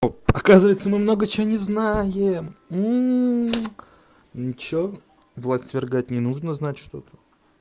о оказывается мы много чего не знаем ничего влад свергать не нужно знать что-то